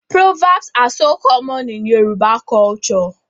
Proverbs are so common in Yoruba culture